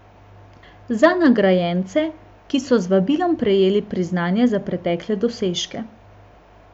Za nagrajence, ki so z vabilom prejeli priznanje za pretekle dosežke.